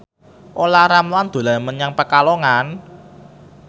Olla Ramlan dolan menyang Pekalongan